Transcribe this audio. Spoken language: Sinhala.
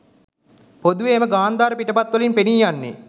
පොදුවේ, එම ගන්ධාර පිටපත්වලින් පෙනීයන්නේ